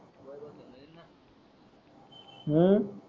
हु